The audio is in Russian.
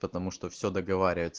потому что все договаривается